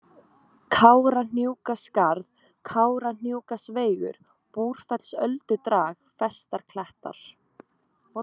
Kárahnjúkaskarð, Kárahnjúkasveigur, Búrfellsöldudrag, Festarklettar